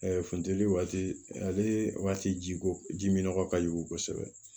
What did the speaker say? funteni waati ale waati ji ko ji min nɔgɔ ka jugu kosɛbɛ